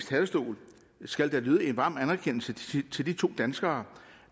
talerstol skal der lyde en varm anerkendelse til de to danskere